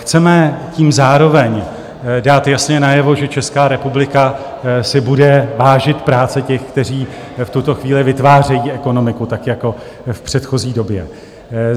Chceme tím zároveň dát jasně najevo, že Česká republika si bude vážit práce těch, kteří v tuto chvíli vytvářejí ekonomiku tak jako v předchozí době.